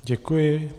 Děkuji.